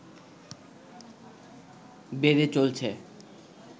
বেড়ে চলছে।